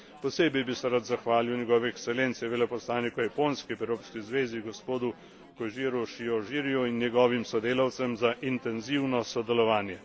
Posebej bi se rad zahvalil njegovi ekscelenci veleposlaniku Japonske pri Evropski zvezi gospodu Kožiru Šiožiriju in njegovim sodelavcem za intenzivno sodelovanje.